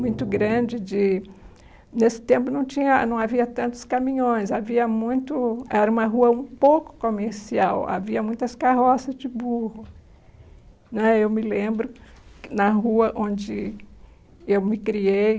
Muito grande de Nesse tempo não tinha não havia tantos caminhões Havia muito Era uma rua um pouco comercial Havia muitas carroças de burro né Eu me lembro Na rua onde Eu me criei